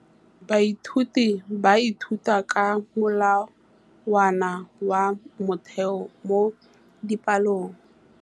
Baithuti ba ithuta ka molawana wa motheo mo dipalong.